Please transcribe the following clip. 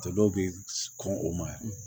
Dɔw bɛ kɔn o ma